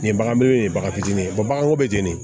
Nin ye bagan m baga fitinin ye baganko bɛ jeni